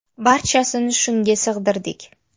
Barchasini shunga sig‘dirdik.